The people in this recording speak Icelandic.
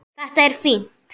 Þetta er fínt.